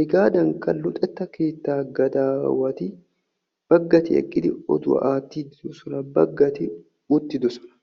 hegaadanikka luxettaa keettaa gadawati baggati eqqidi oduwaa aattiidi de'oosona. baggati uttidosona.